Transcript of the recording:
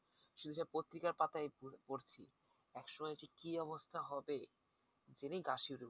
প্ত্রিকার পাতায় পড়ছি একসময় যে কি অবস্থা হবে জেনেই গা শিউরে উঠছে